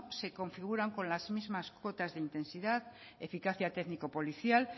se configuran con las mismas cuotas de intensidad eficacia técnico policial